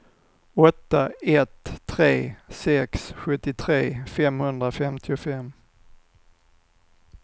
åtta ett tre sex sjuttiotre femhundrafemtiofem